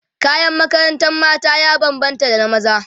kayan makarantar mata ya banbanta da na maza